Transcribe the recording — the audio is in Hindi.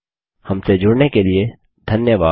हमसे जुड़ने के लिए धन्यवाद